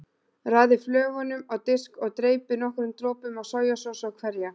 Raðið flögunum á disk og dreypið nokkrum dropum af sojasósu á hverja.